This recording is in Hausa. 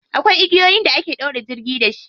Akwai igiyoyin da ake ɗaure jirgi da shi.